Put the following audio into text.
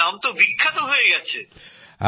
আমাদের গ্রাম বিখ্যাত হয়ে গেছে স্যার